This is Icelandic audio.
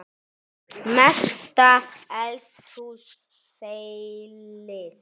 Mesta eldhús feilið?